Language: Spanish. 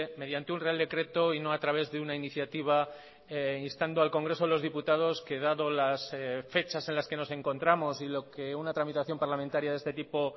mediante un real decreto y no a través de una iniciativa instando al congreso de los diputados que dado las fechas en las que nos encontramos y lo que una tramitación parlamentaria de este tipo